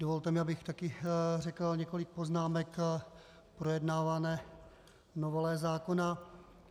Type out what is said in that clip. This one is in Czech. Dovolte mi, abych také řekl několik poznámek k projednávané novele zákona.